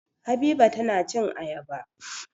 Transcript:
Habiba tana cin ayaba.